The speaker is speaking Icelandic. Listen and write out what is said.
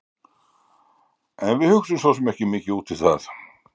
En við hugsum svo sem ekki mikið út í það.